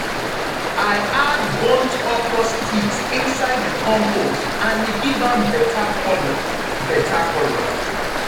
i add burnt okra sticks inside the compost and e give am better colour. better colour.